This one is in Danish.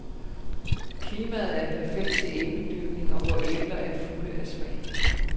Klimaet er perfekt til æbledyrkning, og vore æbler er fulde af smag.